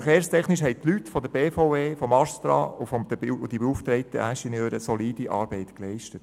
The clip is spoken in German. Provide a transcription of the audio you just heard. Bauverkehrstechnisch haben die Leute von der BVE, vom Astra und die beauftragten Ingenieure solide Arbeit geleistet.